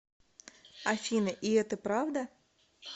афина и это правда